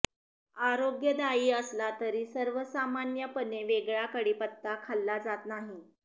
आरोग्यदायी असला तरी सर्वसामान्यपणे वेगळा कढीपत्ता खाल्ला जात नाही